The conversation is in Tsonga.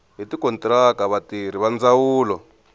hi tikontiraka vatirhi va ndzawulo